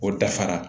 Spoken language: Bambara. O dafara